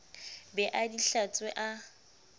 be a di hlatswe a